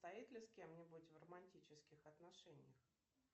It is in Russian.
состоит ли с кем нибудь в романтических отношениях